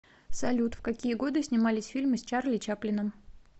салют в какие годы снимались фильмы с чарли чаплином